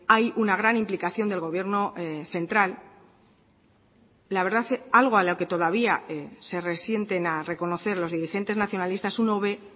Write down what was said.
hay una gran implicación del gobierno central la verdad algo a lo que todavía se resienten a reconocer los dirigentes nacionalistas uno ve